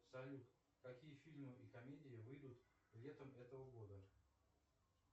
салют какие фильмы и комедии выйдут летом этого года